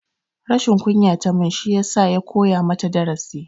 Rashin kunya tamun shiyasa ya koya mata darasi